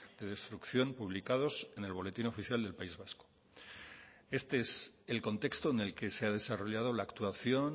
de destrucción publicados en el boletín oficial del país vasco este es el contexto en el que se ha desarrollado la actuación